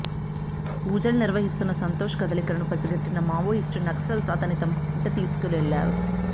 పూజలు నిర్వహిస్తున్న సంతోష్ కదలికలను పసిగట్టిన మావోయిస్టు నక్సల్స్ అతన్ని తమ వెంట తీసుకువెళ్లారు